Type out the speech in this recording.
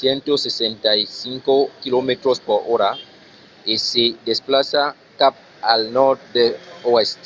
165 km/h e se desplaça cap al nòrd-oèst